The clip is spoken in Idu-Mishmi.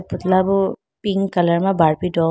putla bu pink colour ma barbie doll --